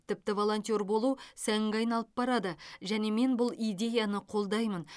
тіпті волонтер болу сәнге айналып барады және мен бұл идеяны қолдаймын